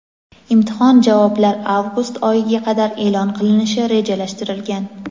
Imtihon javoblar avgust oyiga qadar e’lon qilinishi rejalashtirilgan.